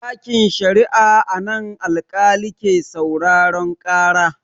Ɗakin sharia a nan alƙali ke sauraren ƙara.